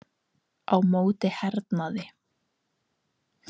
Á móti hernaði